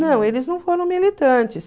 Não, eles não foram militantes.